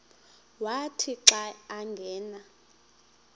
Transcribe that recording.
wathi xa angena